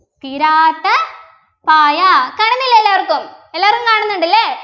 തീരാത്ത പായ കാണുന്നില്ലേ എല്ലാർക്കും എല്ലാവരും കാണുന്നുണ്ട് ല്ലേ